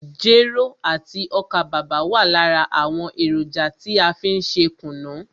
Jero àti ọ́kà bàbà wa lára àwọn èròjà tí a fí n ṣe kùnú.